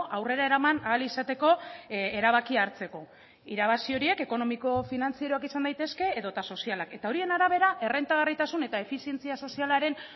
aurrera eraman ahal izateko erabakia hartzeko irabazi horiek ekonomiko finantzieroak izan daitezke edota sozialak eta horien arabera errentagarritasun eta efizientzia sozialaren